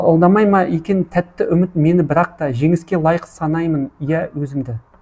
алдамай ма екен тәтті үміт мені бірақта жеңіске лайық санаймын иә өзімді